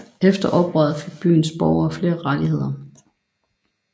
Efter oprøret fik byens borgere flere rettigheder